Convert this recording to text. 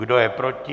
Kdo je proti?